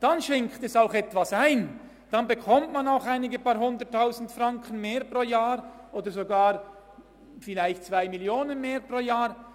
Dann schenkt es auch etwas ein, dann bekommt man auch ein paar Hunderttausend Franken, vielleicht sogar 2 Mio. Franken mehr pro Jahr.